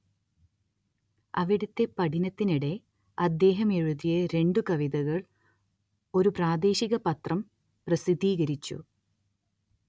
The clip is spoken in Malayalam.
അവിടത്തെ പഠനത്തിനിടെ അദ്ദേഹം എഴുതിയ രണ്ടു കവിതകൾ ഒരു പ്രാദേശിക പത്രം പ്രസിദ്ധീകരിച്ചു